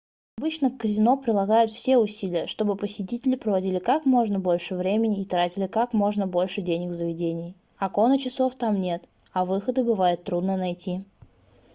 обычно казино прилагают все усилия чтобы посетители проводили как можно больше времени и тратили как можно больше денег в заведении окон и часов там нет а выходы бывает трудно найти